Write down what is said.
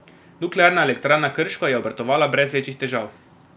Nuklearna elektrarna Krško je obratovala brez večjih težav.